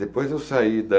Depois eu saí da...